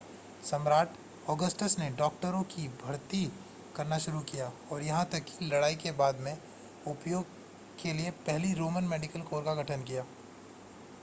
सम्राट ऑगस्टस ने डॉक्टरों को भर्ती करना शुरू किया और यहां तक कि लड़ाई के बाद में उपयोग के लिए पहली रोमन मेडिकल कोर का गठन किया